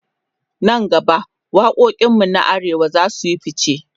nan gaba waƙoƙin mu na arewa zasuyi ficce